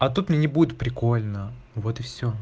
а тут мне не будет прикольно вот и все